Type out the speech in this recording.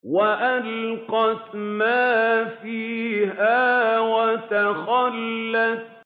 وَأَلْقَتْ مَا فِيهَا وَتَخَلَّتْ